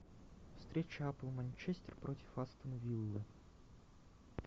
встреча апл манчестер против астон виллы